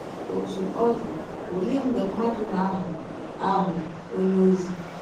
Ọtụ ọ dị, ọlee mgbe mmadụ na - aghọ aghọ ọnye ọzi?